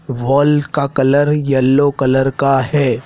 Football का colour yellow colour का है।